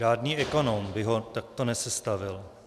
Žádný ekonom by ho takto nesestavil.